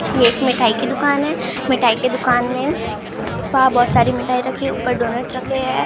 एक मिठाई की दुकान है मिठाई की दुकान में वहां बहुत सारी मिठाई रखी ऊपर डोनैट रखे है।